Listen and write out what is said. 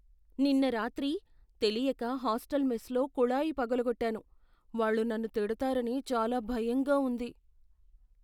నిన్న రాత్రి తెలియక హాస్టల్ మెస్లో కుళాయి పగలగొట్టాను, వాళ్ళు నన్ను తిడతారని చాలా భయంగా ఉంది.